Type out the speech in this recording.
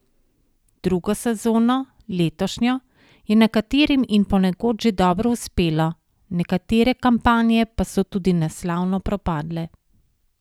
Drugo sezono, letošnjo, je nekaterim in ponekod že dobro uspelo, nekatere kampanje pa so tudi neslavno propadle.